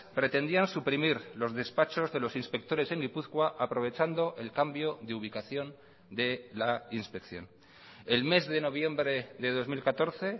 pretendían suprimir los despachos de los inspectores en gipuzkoa aprovechando el cambio de ubicación de la inspección el mes de noviembre de dos mil catorce